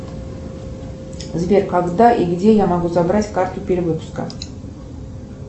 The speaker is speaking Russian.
сбер когда и где я могу забрать карту перевыпуска